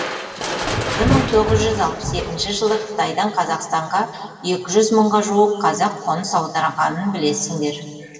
бір мың тоғыз жүз алпыс екінші жылы қытайдан қазақстанға екі жүз мыңға жуық қазақ қоныс аударғанын білесіңдер